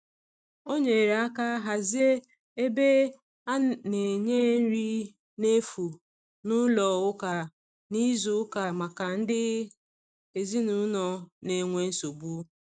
o nyere aka hazie ebe ana nye nri na efụ n'ụlọ ụka na izu uka maka ndi ezinulo n'enwe nsogbu